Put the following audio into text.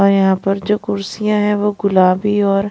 और यहां पर जो कुर्सियां हैं वो गुलाबी और--